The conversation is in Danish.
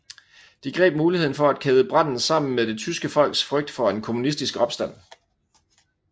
De greb muligheden for at kæde branden sammen med det tyske folks frygt for en kommunistisk opstand